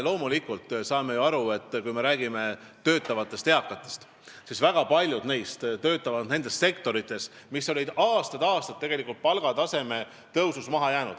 Loomulikult, me saame ju aru, et kui me räägime töötavatest eakatest, siis väga paljud neist töötavad nendes sektorites, mis on aastaid tegelikult palgataseme poolest maha jäänud.